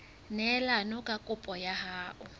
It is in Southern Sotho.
neelane ka kopo ya hao